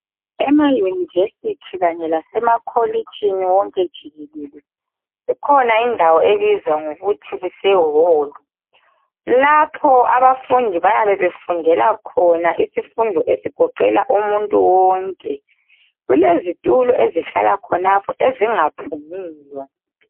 Ema university kanye lase makolitshini wonke jikelele ikhona indawo ebizwa ngokuthi kuse hall , lapho abafundi bayabe bafundela khona isifundo esigoqela umuntu wonke kulezitulo ezihlala khonapho ezingaphumiyo.